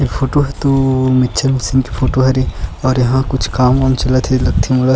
इ फोटो ह तो मिक्चर मशीन के फोटो हरे और एहा कुछ काम -वाम चलत है लगथे मोला --